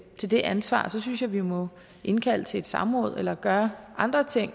til det ansvar så synes jeg vi må indkalde til et samråd eller gøre andre ting